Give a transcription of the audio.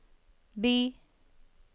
by